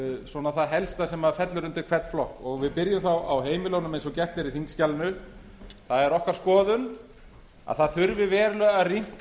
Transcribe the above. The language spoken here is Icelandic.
aðeins yfir það helsta sem fellur undir hvern flokk við byrjum þá á heimilunum eins og gert er í þingskjalinu það er okkar skoðun að það þurfi verulega að rýmka